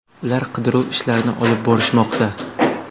Ular qidiruv ishlarini olib borishmoqda.